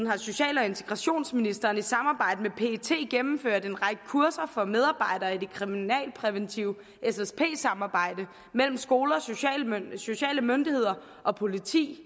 har social og integrationsministeren i samarbejde med pet gennemført en række kurser for medarbejdere i det kriminalpræventive ssp samarbejde mellem skoler sociale myndigheder og politi